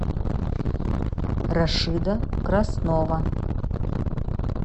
рашида краснова